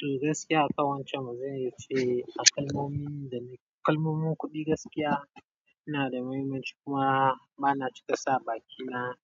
To gaskiya a ƙawancan, baza iya ce a kalmomin da na kalmomin kuɗi gaskiya yana da muhimmanci kuma bana cika sa bakina